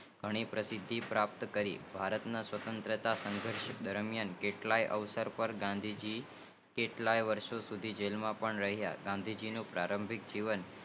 ઘણી પરિસ્થિતિ પ્રાપ્ત કરી ભારત સવતંત્રતા સંધર્ષ દરમિયાન કેટલાક અવસર પર ગાંધી કેટલાક વર્ષો સુધી જેલ માં પણ રહિયા હતા ગાંધી ને પ્રારંભિક જીવન